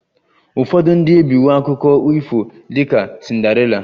Ụfọdụ ndị ebiwo akụkọ ifo dị ka Cinderella